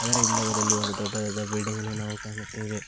ಇದರ ಹಿಂಭಾಗದಲ್ಲಿ ಒಂದು ದೊಡ್ಡದಾದ ಬಿಲ್ಡಿಂಗ್ ಅನ್ನು ಕಾಣುತ್ತೆವೆ.